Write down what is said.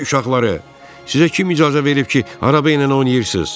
Köpək uşaqları, sizə kim icazə verib ki, araba ilə oynayırsınız?